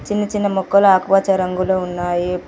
చిన్న చిన్న మొక్కలు ఆకుపచ్చ రంగులో ఉన్నాయి.